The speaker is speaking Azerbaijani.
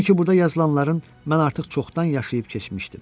Sanki burda yazılanların mən artıq çoxdan yaşayıb keçmişdim.